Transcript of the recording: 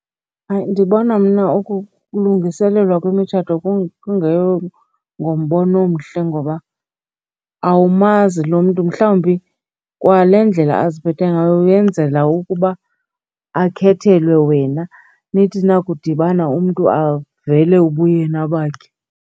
Hayi, ndibona mna ukulungiselelwa kwemitshato ngombono omhle ngoba awumazi lo mntu. Mhlawumbi kwale ndlela aziphathe ngayo uyenzela ukuba akhethelwe wena, nithi nakudibana umntu avele ubuyena bakhe.